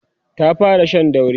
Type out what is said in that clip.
ta fara Shan dauri